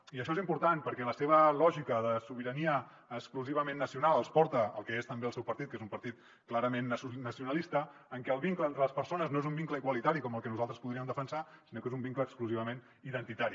i això és important perquè la seva lògica de sobirania exclusivament nacional els porta al que és també el seu partit que és un partit clarament nacionalista en què el vincle entre les persones no és un vincle igualitari com el que nosaltres podríem defensar sinó que és un vincle exclusivament identitari